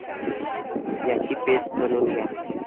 याची पेस्ट बनवून घ्या.